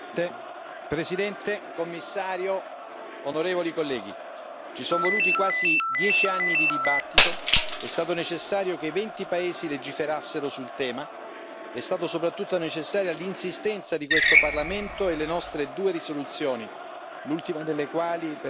Signor Presidente, signor Commissario, onorevoli colleghi, ci sono voluti quasi 10 anni di dibattito, è stato necessario che venti paesi legiferassero sul tema, sono state soprattutto necessarie l'insistenza di questo Parlamento e le nostre due risoluzioni, l'ultima delle quali